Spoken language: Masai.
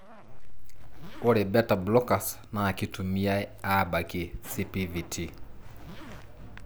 Ore Beta blockers na kitumiae abakie CPVT.